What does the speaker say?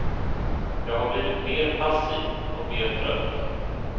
Jag har blivit mer passiv och mer trött.